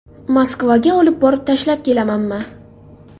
Moskvaga olib borib tashlab kelamanmi?